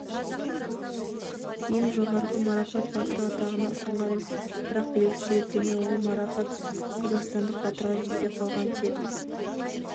ең жоғары марапатбатыры атағына ұсынған бірақ белгісіз себептермен ол марапат қазақстандық батырға жетпей қалған тек